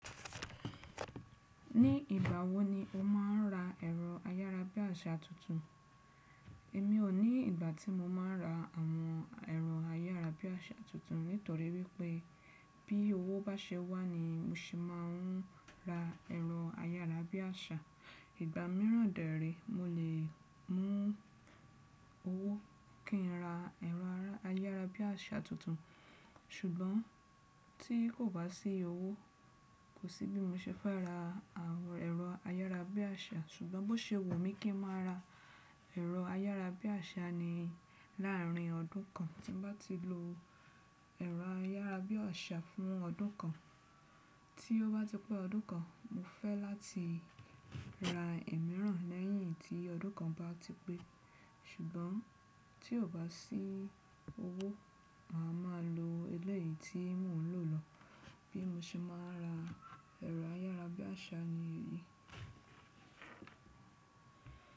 Ní ìgbà wo ni o máa ń ra ẹ̀rọ ayárabíàṣá tuntun? Èmi ò ní ìgbà tí mo máa ń ra àwọn ẹ̀rọ ayárabíàṣá tuntun nítorí wípé bí owó bá ṣe wà ni mo ṣe máa ń ra ẹ̀rọ ayárabíàṣá. Ìgbà mìíràn dè érè mo lè mú owó kí n ra ẹ̀rọ ayárabíàṣá tuntun. Ṣùgbọ́n tí kò bá sí owó kò sí bí mo ṣe fẹ́ ra ẹ̀rọ ayárabíàṣá. Ṣùgbọ́n bó ṣe wù mí kí n máa ra ẹ̀rọ ayárabíàṣá ni láàrin ọdún kan. Tí mo bá ti lo ẹ̀rọ ayárabíàṣá fún ọdún kan, tí ó bá ti pé ọdún kan, mo fẹ́ láti ra ẹ̀ mìíràn lẹ́yìn tí ọdún kan bá ti pé. Ṣùgbọ́n tí kò bá sí owó, màá máa lo elẹ́yìí tí mò ń lò lọ bí mo ṣe máa ra ẹ̀rọ ayárabíàṣá ni.